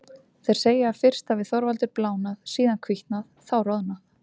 Þeir segja að fyrst hafi Þorvaldur blánað, síðan hvítnað, þá roðnað.